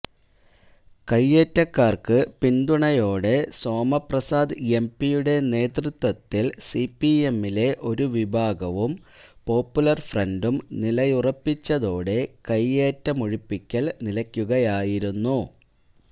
കൈയേറ്റക്കാര്ക്ക് പിന്തുണയോടെ സോമപ്രസാദ് എംപിയുടെ നേതൃത്വത്തില് സിപിഎമ്മിലെ ഒരു വിഭാഗവും പോപ്പുലര് ഫ്രണ്ടും നിലയുറപ്പിച്ചതോടെ കൈയേറ്റമൊഴിപ്പിക്കല് നിലയ്ക്കുകയായിരുന്നു